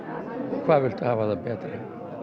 hvað viltu hafa það betra